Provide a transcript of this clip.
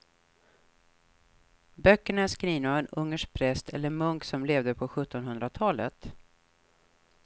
Böckerna är skrivna av en ungersk präst eller munk som levde på sjuttonhundratalet.